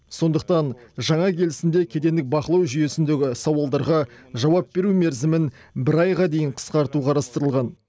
сондықтан жаңа келісімде кедендік бақылау жүйесіндегі сауалдарға жауап беру мерзімін бір айға дейін қысқарту қарастырылған